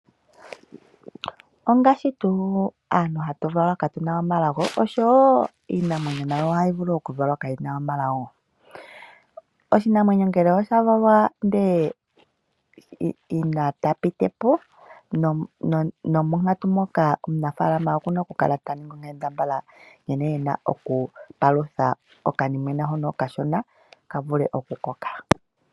Ongashi tuu aantu hatu valwa twahulitha oshowo iinamwenyo nayo ohayi vulu oku valwa kayina omwenyo. Oshinamwenyo ngele oshavalwa ndele yina ta pitipo nomonkatu moka omunafaalama okuna oku kala taningi onkambadhala nkene ena okupalutha okanimwena hono okashona opo kavule okukoka.